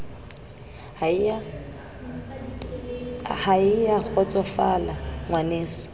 ha e a kgotsosofala ngwaneso